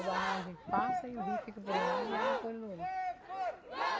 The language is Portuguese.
A barragem passa e o rio fica por um lado e a água por outro.